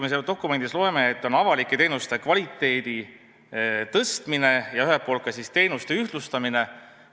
Me sealt dokumendist loeme avalike teenuste kvaliteedi tõstmisest ja ka teenuste ühtlustamisest.